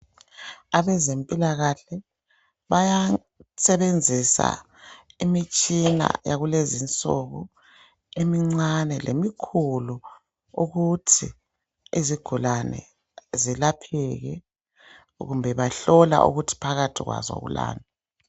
Abezempilakahle bayasebenzisa imitshina yakulezinsuku emincane lemikhulu. Ukuthi izigulane zelapheke kumbe bahlola ukuthi phakathi kwazo kulani.